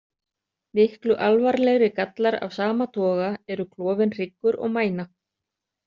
Miklu alvarlegri gallar af sama toga eru klofinn hryggur og mæna.